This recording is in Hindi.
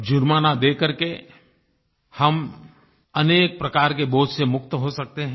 जुर्माना देकर के हम अनेक प्रकार के बोझ से मुक्त हो सकते हैं